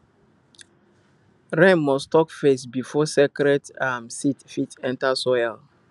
rain must talk first before sacred um seed fit enter soil